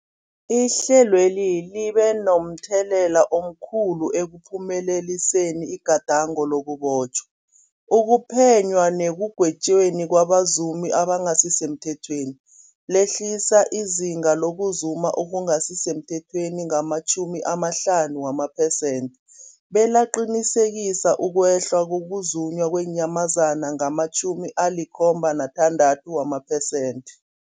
Ihlelweli libe momthelela omkhulu ekuphumeleliseni igadango lokubotjhwa, ukuphenywa nekugwetjweni kwabazumi abangasisemthethweni, lehlisa izinga lokuzuma okungasi semthethweni ngama-50 amapersenthe, belaqinisekisa ukwehla kokuzunywa kweenyamazana ngama-76 amapersenthe.